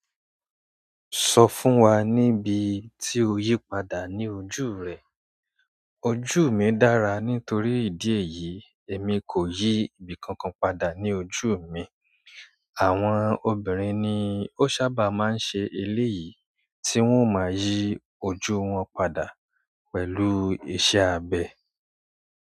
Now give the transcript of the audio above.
Sọ fún wa níbi tí o yí padà ní ojú rẹ. Ojú mi dára nítorí ìdí èyí èmi kò yí ibìkankan padà ní ojú mi. Àwọn obìnrin ni ó sábà máa ń ṣe eléyìí, tí wọ́n ò máa yí ojú wọn padà pẹ̀lú iṣẹ́ abẹ.